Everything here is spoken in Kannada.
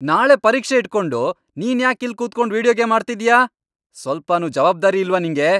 ನಾಳೆ ಪರೀಕ್ಷೆ ಇಟ್ಕೊಂಡು ನೀನ್ಯಾಕ್ ಇಲ್ಲ್ ಕೂತ್ಕೊಂಡ್ ವೀಡಿಯೋ ಗೇಮ್ ಆಡ್ತಿದ್ಯಾ? ಸ್ವಲ್ಪನೂ ಜವಾಬ್ದಾರಿ ಇಲ್ವಾ ನಿಂಗೆ?